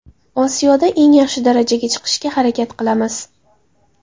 Osiyoda eng yaxshi darajaga chiqishga harakat qilamiz.